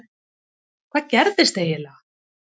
Hvað gerðist eiginlega??